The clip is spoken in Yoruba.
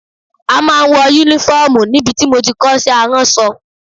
A máa ń wọ Únífọ́ọ̀mù níbi tí mo ti kọ́ iṣẹ́ aránṣọ